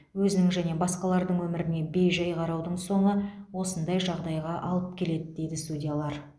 өзінің және басқалардың өміріне бей жай қараудың соңы осындай жағдайға алып келеді дейді судьялар